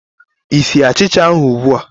Ị sie achicha ahụ ugbu a?